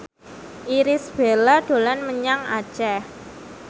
Irish Bella dolan menyang Aceh